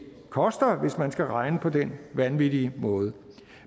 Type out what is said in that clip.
koster hvis man skal regne på den vanvittige måde